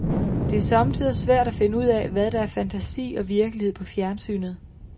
Det er somme tider svært at finde ud af, hvad der er fantasi og virkelighed på fjernsynet.